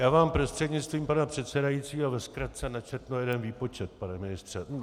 Já vám prostřednictvím pana předsedajícího ve zkratce načtu jeden výpočet, pane ministře.